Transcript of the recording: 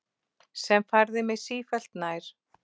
Sem færði mig sífellt nær